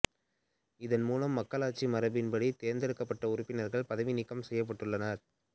இதன் மூலம் மக்களாட்சி மரபின்படி தேர்ந்தெடுக்கப்பட்ட உறுப்பினர்கள் பதவி நீக்கம் செய்யப்பட்டுள்ளனர்